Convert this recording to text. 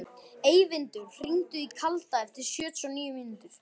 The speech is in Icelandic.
Eyvindur, hringdu í Kalda eftir sjötíu og níu mínútur.